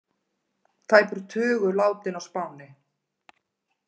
Tæpur tugur látinn á Spáni